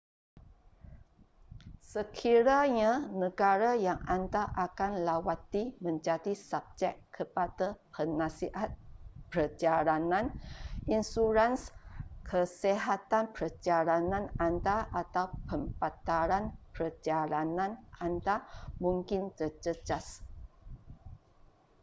sekiranya negara yang anda akan lawati menjadi subjek kepada penasihat perjalanan insurans kesihatan perjalanan anda atau pembatalan perjalanan anda mungkin terjejas